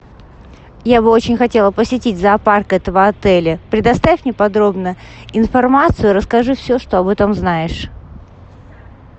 я бы очень хотела посетить зоопарк этого отеля предоставь мне подробно информацию расскажи все что об этом знаешь